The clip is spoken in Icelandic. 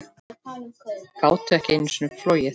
Gátu ekki einu sinni flogið.